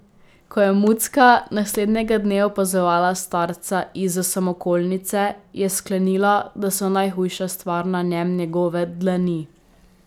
Ko je Mucka naslednjega dne opazovala starca izza samokolnice, je sklenila, da so najhujša stvar na njem njegove dlani.